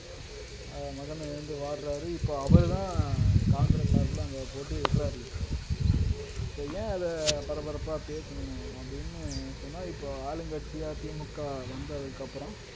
அஹ் மகனை இழந்து வாடுறாரு இப்ப அவருதான் காங்கிரஸ் சார்புல அங்க போட்டியிடுறாரு இப்போ இப்போ ஏன் அதை பரபரப்பா பேசணும் அப்படின்னு சொன்னா இப்போ ஆளுங்கட்சியா திமுக வந்ததுக்கு அப்புறம்